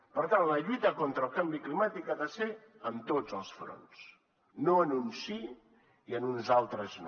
per tant la lluita contra el canvi climàtic ha de ser en tots els fronts no en uns sí i en uns altres no